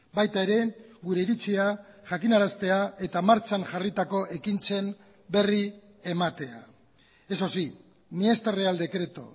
baita ere gure iritzia jakinaraztea eta martxan jarritako ekintzen berri ematea eso sí ni este real decreto